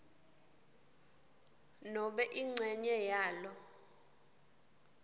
nobe incenye yalo